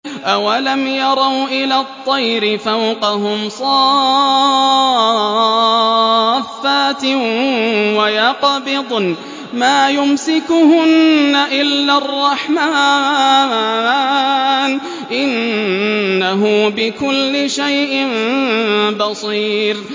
أَوَلَمْ يَرَوْا إِلَى الطَّيْرِ فَوْقَهُمْ صَافَّاتٍ وَيَقْبِضْنَ ۚ مَا يُمْسِكُهُنَّ إِلَّا الرَّحْمَٰنُ ۚ إِنَّهُ بِكُلِّ شَيْءٍ بَصِيرٌ